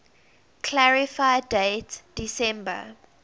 clarify date december